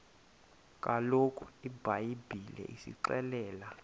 kaloku ibhayibhile isixelela